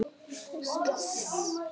Þannig líður öllum best.